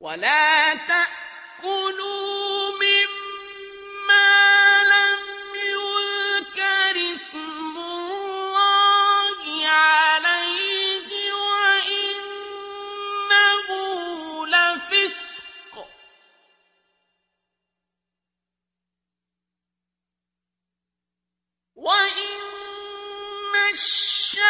وَلَا تَأْكُلُوا مِمَّا لَمْ يُذْكَرِ اسْمُ اللَّهِ عَلَيْهِ وَإِنَّهُ لَفِسْقٌ ۗ وَإِنَّ الشَّيَاطِينَ